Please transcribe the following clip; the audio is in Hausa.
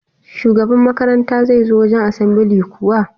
Shugaba makaranta zai zo wajan asambili kuwa?